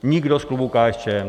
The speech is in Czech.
Nikdo z klubu KSČM.